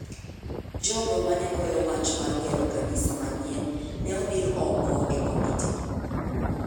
Jogo mane goyo wach mar gero kanisa manyien ne odir oko e komiti.